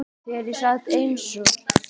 Þegar ég sat eins og